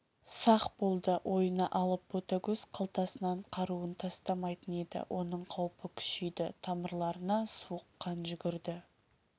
сақ болды ойына алып ботагөз қалтасынан қаруын тастамайтын еді оның қаупі күшейді тамырларына суық қан жүгірді